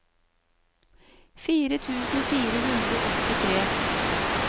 fire tusen fire hundre og åttitre